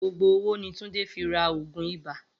Gbogbo owó ni Túndé fi ra ògùn ibà